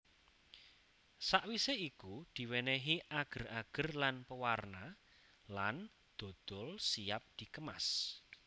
Sawise iku diwenehi ager ager lan pewarna lan dodol siap dikemas